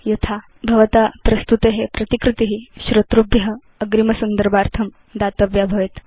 यथा भवता भवत् प्रस्तुते प्रतिकृति श्रोतृभ्य अग्रिम संदर्भार्थं दातव्या भवेत्